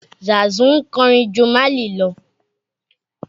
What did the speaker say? Zàsu ń kọrin ju Málì lọ